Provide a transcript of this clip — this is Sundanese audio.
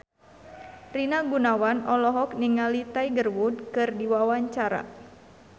Rina Gunawan olohok ningali Tiger Wood keur diwawancara